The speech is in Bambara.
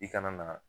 I kana na